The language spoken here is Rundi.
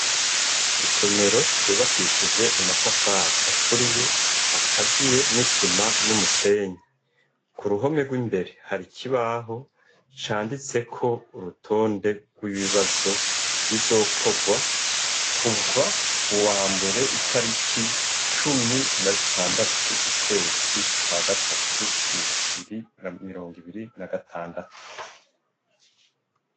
Isomero ryubakishije amatafari aturiye, akaziye n'isima n'umusenyi, k'uruhome rw'imbere har'ikibaho canditseko urutonde rw'ibibazo bizakorwa kuva ku wa mbere itariki cumi na zitandatu, ukwezi kwa gatatu, bibiri na mirongo ibiri na gatandatu.